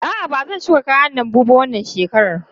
A'a, ban shuka kayan lambu ba wannan shekarar.